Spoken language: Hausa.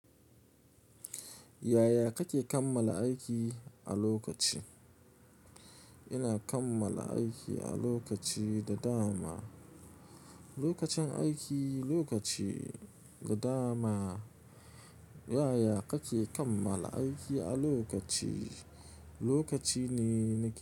Yaya kake kammala aiki a lokaci? Ina kammala aiki a lokaci da dama. Lokacin aiki, lokaci da dama. Yaya kake kammala aiki a lokaci? Lokaci ne.